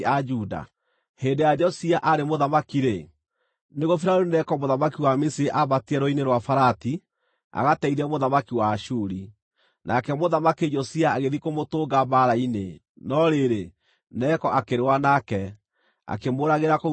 Hĩndĩ ĩrĩa Josia aarĩ mũthamaki-rĩ, nĩguo Firaũni-Neko mũthamaki wa Misiri aambatire Rũũĩ-inĩ rwa Farati agateithie mũthamaki wa Ashuri. Nake Mũthamaki Josia agĩthiĩ kũmũtũnga mbaara-inĩ, no rĩrĩ, Neko akĩrũa nake, akĩmũũragĩra kũu Megido.